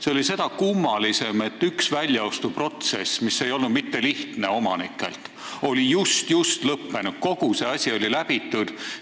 See oli seda kummalisem, et üks omanikelt väljaostmise protsess, mis ei olnud üldse lihtne, oli just lõppenud ja kogu see asi juba läbitud.